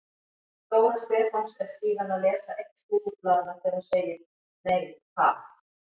Dóra Stefáns er síðan að lesa eitt slúðurblaðanna þegar hún segir: Nei ha?